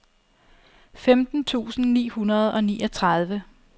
femten tusind ni hundrede og niogtredive